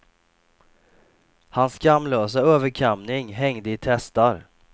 Hans skamlösa överkamning hängde i testar.